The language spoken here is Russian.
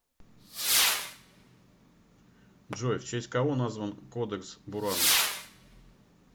джой в честь кого назван кодекс буранус